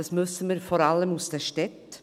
Das wissen wir vor allem aus den Städten.